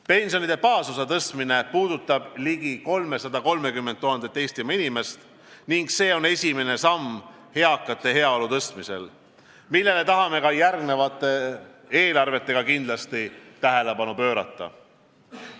Pensionide baasosa tõstmine puudutab ligi 330 000 Eestimaa inimest ning see on esimene samm eakate heaolu tõstmisel, millele tahame ka järgnevate eelarvetega kindlasti tähelepanu pöörata.